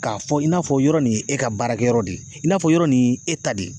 K'a fɔ i n'a fɔ yɔrɔ nin ye e ka baarakɛyɔrɔ de ye i n'a fɔ yɔrɔ nin ye e ta de ye